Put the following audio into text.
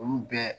Olu bɛɛ